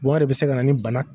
Wari bi se ka na ni bana